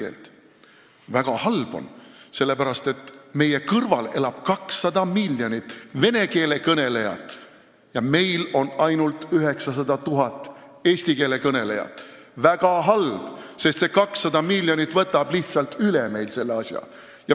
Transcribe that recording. See on väga halb, sellepärast et meil on ainult 900 000 eesti keele kõnelejat ja meie kõrval elab 200 miljonit vene keele kõnelejat – see 200 miljonit võtab meil lihtsalt üle selle asja.